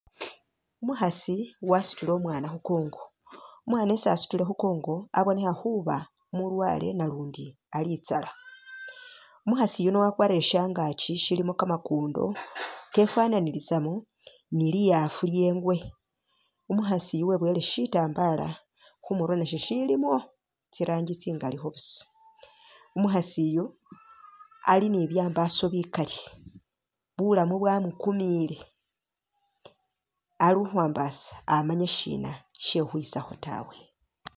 Umukhasi wasutile umwana khukongo, umwana esi asutile khukongo abonekha khuba umulwale nalundi ali itsala, umukhasi yuno wakwarire shangaakyi shilimo kamakundo kefananilisamo ni li'afu lye engwe ,umukhasi uyu weboyele shitambala khumurwe nasho shilimo tsirangi tsingalikho busa ,umukhaasi uyu ali ni byambaso bikali ,bulamu bwamukumile ,ali ukhwambasa amanya shina shekhukhwisakho tawe